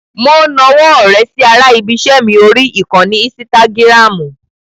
Mo nawọ́ ọ̀rẹ́ sí ara ibi-iṣẹ́ mi orí ìkànnì ínsítágìràmù.